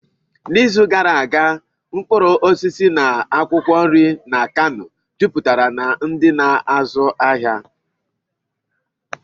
N'izu gara aga, ahịa mkpụrụ osisi na akwụkwọ nri na Kanu juputere na ndi na-azu afia.